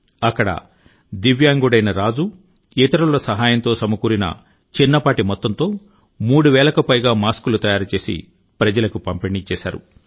అక్కడ దివ్యాంగుడైన రాజు ఇతరుల సహాయంతో సమకూరిన చిన్నపాటి మొత్తంతో మూడు వేలకు పైగా మాస్కులు తయారు చేసి ప్రజలకు పంపిణీ చేశారు